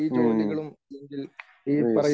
മ്മ്ഹ് yes